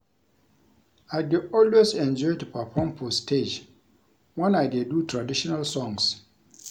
I dey always enjoy to perform for stage wen I dey do traditional songs